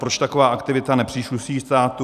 Proč taková aktivita nepřísluší státu?